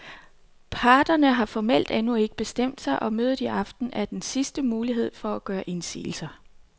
Parterne har formelt endnu ikke bestemt sig, og mødet i aften er en sidste mulighed for at gøre indsigelser.